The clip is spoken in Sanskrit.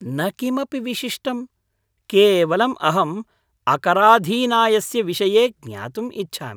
न किमपि विशिष्टम्, केवलम् अहम् अकराधीनायस्य विषये ज्ञातुम् इच्छामि।